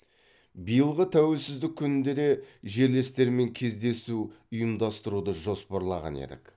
биылғы тәуелсіздік күнінде де жерлестермен кездесу ұйымдастыруды жоспарлаған едік